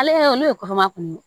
Ale olu ye kɔnɔma kun ye